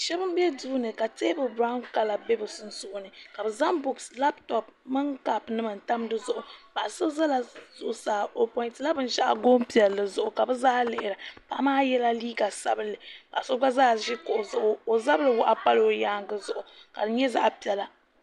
Shab n bɛ duuni ka teebuli biraawn kala bɛ bi sunsuuni ka bi zaŋ buuks labtop mini kaap nima n tam dizuɣu Paɣa so ʒɛla zuɣusaa o pointila binshaɣu goon piɛlli zuɣu ka bi zaa lihira paɣa maa yɛla liiga sabunli paɣa so gba zaa ʒi kuɣu zuɣu o zabiri waɣa pala o yaangi zuɣu ka di nyɛ zaɣ piɛla